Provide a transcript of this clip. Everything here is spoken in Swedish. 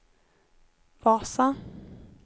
Vasa